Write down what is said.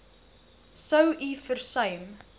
sou u versuim